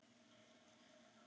Þú, þegar augu opnast.